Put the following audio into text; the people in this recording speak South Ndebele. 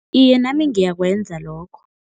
Iye, nami ngiyakwenza lokho.